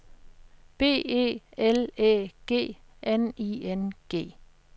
B E L Æ G N I N G